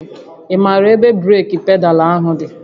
Ị maara ebe breeki pedaalụ dị?